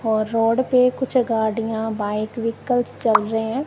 और रोड पे कुछ गाड़ियां बाइक व्हीकल्स चल रहे हैं।